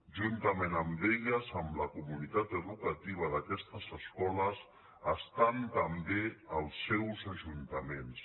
juntament amb elles amb la comunitat educativa d’aquestes escoles hi ha també els seus ajuntaments